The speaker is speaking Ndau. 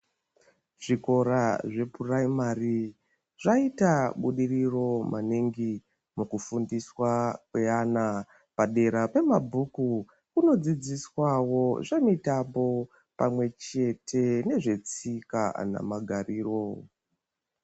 Zvikora zvepuraimari zvaita budiriro maningi mukufundiswa kweana. Padera pemabhuku kunodzidziswawo zvemitambo pamwe chete nezvetsika namagariro.